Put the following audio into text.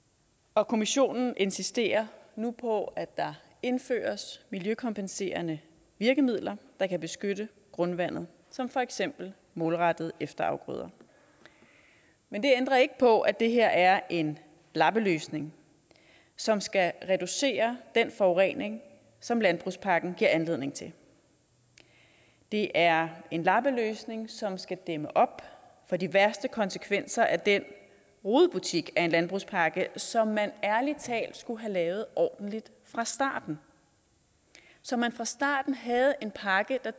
og kommissionen insisterer nu på at der indføres miljøkompenserende virkemidler der kan beskytte grundvandet som for eksempel målrettede efterafgrøder men det ændrer ikke på at det her er en lappeløsning som skal reducere den forurening som landbrugspakken giver anledning til det er en lappeløsning som skal dæmme op for de værste konsekvenser af den rodebutik af en landbrugspakke som man ærlig talt skulle have lavet ordentligt fra starten så man fra starten havde en pakke der